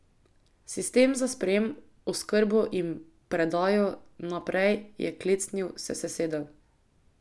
Sistem za sprejem, oskrbo in predajo naprej je klecnil, se sesedel.